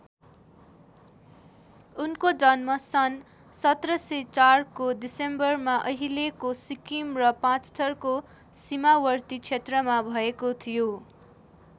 उनको जन्म सन् १७०४ को डिसेम्बरमा अहिलेको सिक्किम र पाँचथरको सीमावर्ती क्षेत्रमा भएको थियो।